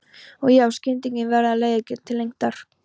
Og já, skyndikynnin verða leiðigjörn til lengdar.